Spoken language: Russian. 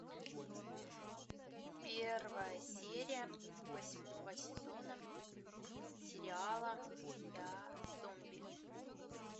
первая серия восьмого сезона сериала я зомби